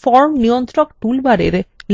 form নিয়ন্ত্রক toolbar